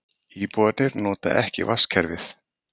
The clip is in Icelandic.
Íbúarnir noti ekki vatnskerfið